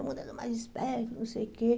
O mundo é dos mais espertos, não sei o quê.